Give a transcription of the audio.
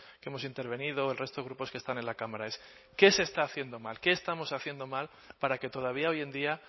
que hemos intervenido el resto de grupos que están en la cámara es qué se está haciendo mal qué estamos haciendo mal para que todavía hoy en día